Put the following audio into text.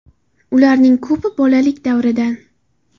Ularning ko‘pi bolalik davridan.